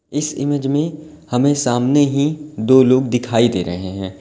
इस इमेज में हमें सामने ही दो लोग दिखाई दे रहे हैं।